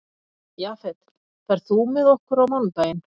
Jafet, ferð þú með okkur á mánudaginn?